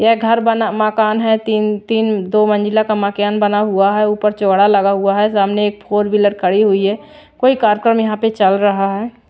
ये घर बना मकान है तीन-तीन दो मंजिला का मकेन बना हुआ है ऊपर चौड़ा लगा हुआ है सामने एक फोर व्हीलर खड़ी हुई है कोई कार्यक्रम यहाँ पे चल रहा है।